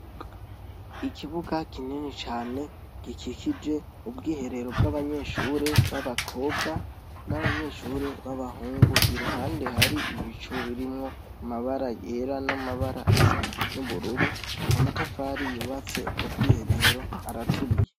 Ikibuga kinini cane gikikije ubwiherero bw'abanyeshuri baba kobwa n'abanyeshuri baba hungu iruhande hari ibicu gisa birimwo amabara yera n'amabara asa n'ubururu, Amatafari yubatse ubwo bwiherero araturiye.